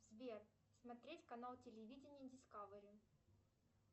сбер смотреть канал телевидения дискавери